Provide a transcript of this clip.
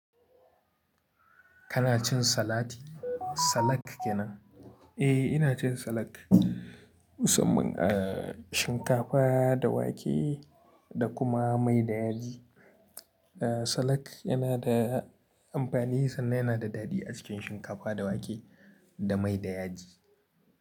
Kana cin salati? Salak kenan. Eh, ina cin salak musamman a shinkafa da wake da kuma mai da yaji. Ah, salak yana da amfani sannan yana da daɗi a cikin shinkafa da wake da mai da yaji.